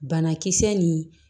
Banakisɛ ni